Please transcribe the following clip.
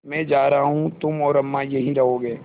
मैं जा रहा हूँ तुम और अम्मा यहीं रहोगे